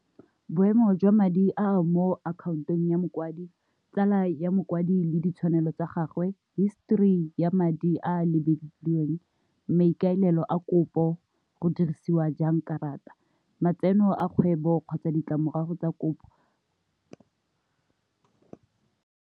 Boemo jwa madi a mo akhaontong ya mokwadi, tsala ya mokwadi le ditshwanelo tsa gagwe, histori ya madi a a lebilweng, maikaelelo a kopo go dirisiwa jang karata, matseno a kgwebo kgotsa ditlamorago tsa kopo.